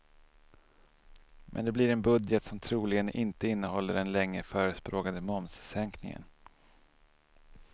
Men det blir en budget som troligen inte innehåller den länge förespråkade momssänkningen.